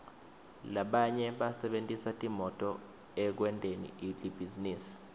labanye basebentisa timoto ekwenteni libhizinisi